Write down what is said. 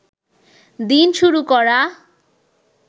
দিন শুরু করা